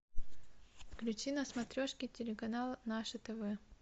включи на смотрешке телеканал наше тв